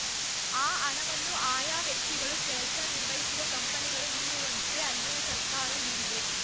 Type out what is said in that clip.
ಆ ಹಣವನ್ನು ಆಯಾ ವ್ಯಕ್ತಿಗಳು ಕೆಲಸ ನಿರ್ವಹಿಸುವ ಕಂಪನಿಗಳು ನೀಡುವಂತೆ ಅಲ್ಲಿನ ಸರ್ಕಾರ ನೀಡಿದೆ